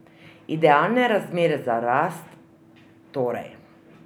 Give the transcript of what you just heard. Idealne razmere za rast, torej.